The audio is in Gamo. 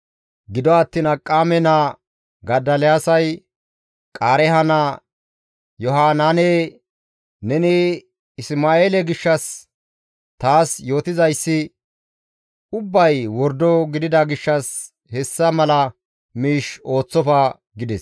Gido attiin Akiqaame naa Godoliyaasay Qaareeha naa Yohanaane, «Neni Isma7eele gishshas taas yootizayssi ubbay wordo gidida gishshas hessa mala miish ooththofa» gides.